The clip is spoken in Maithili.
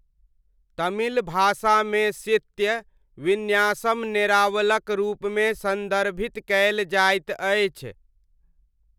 तमिल भाषामे शित्य विन्यासम नेरावलक रूपमे सन्दर्भित कयल जाइत अछि।